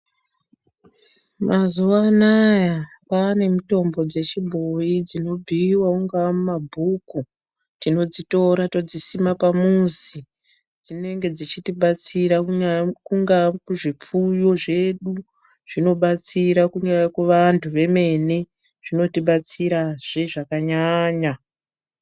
Mazuanaya kwane mitombo zechibhoyi dzinobhuwa munga mumabhuku tinodzitora todzisima pamuzi dzinenge dzichitibatsira kunya kunga kuzvipfuyo zvedu zvinobatsira kunya kuvantu vemene zvinobatsira zvakanyanya.